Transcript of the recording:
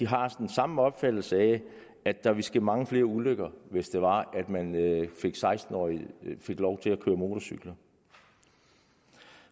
har den samme opfattelse af at der vil ske mange flere ulykker hvis seksten årige fik lov til at køre motorcykler